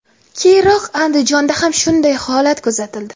Keyinroq Andijonda ham shunday holat kuzatildi.